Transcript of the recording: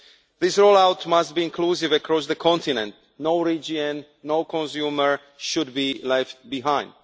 This roll out must be inclusive across the continent no region, no consumer should be left behind.